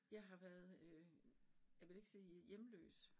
Jeg har været øh jeg vil ikke sige hjemløs